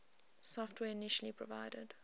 software initially provided